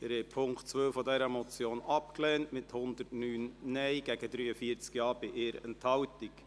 Sie haben den Punkt 1 dieser Motion angenommen, mit 80 Ja- gegen 73 Nein-Stimmen bei 0 Enthaltungen.